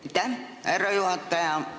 Aitäh, härra juhataja!